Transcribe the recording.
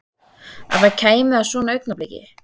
Að það kæmi að svona augnabliki.